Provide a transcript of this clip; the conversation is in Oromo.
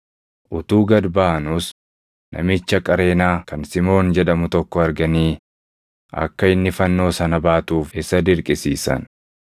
Utuu gad baʼanuus namicha Qareenaa kan Simoon jedhamu tokko arganii akka inni fannoo sana baatuuf isa dirqisiisan.